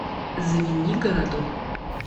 звенигороду